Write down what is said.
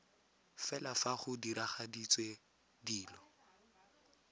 fela fa go diragaditswe dilo